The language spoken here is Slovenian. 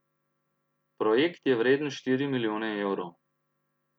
Projekt je vreden štiri milijone evrov.